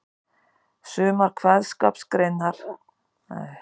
Sumar kveðskapargreinar eru lausari í böndunum en aðrar.